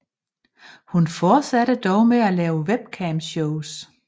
Hun fortsatte dog med at lave webcamshows